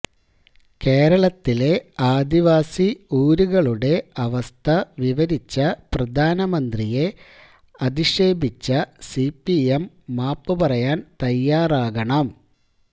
കേരളത്തിലെ ആദിവാസി ഊരുകളുടെ അവസ്ഥ വിവരിച്ച പ്രധാനമന്ത്രിയെ അധിക്ഷേപിച്ച സിപിഎം മാപ്പുപറയാന് തയ്യാറാകണം